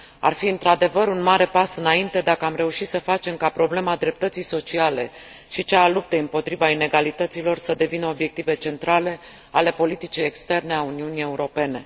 Ar fi, într adevăr, un mare pas înainte dacă am reuși să facem ca problema dreptății sociale și cea a luptei împotriva inegalităților să devină obiective centrale ale politicii externe a Uniunii Europene.